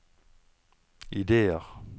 ideer